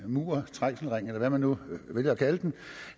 muren trængselsringen eller hvad man nu vælger at kalde den